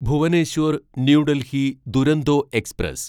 Bhubaneswar new Delhi Duronto express